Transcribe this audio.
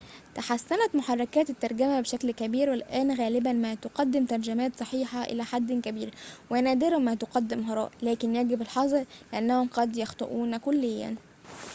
تحسّنت محركات الترجمة بشكل كبير، والآن غالباً ما تقدم ترجمات صحيحة إلى حد كبير ونادراً ما تفدم هراءً، لكن يجب الحذر، لأنهم قد يخطئون كليّاً